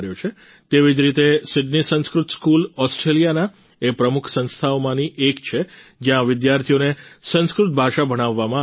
તેવી જ રીતે સિડની સંસ્કૃત સ્કૂલ ઓસ્ટ્રેલિયાના એ પ્રમુખ સંસ્થાઓમાંની એક છે જ્યાં વિદ્યાર્થીઓને સંસ્કૃત ભાષા ભણાવવામાં આવે છે